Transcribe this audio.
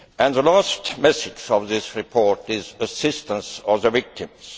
The last message from this report is assistance for the victims.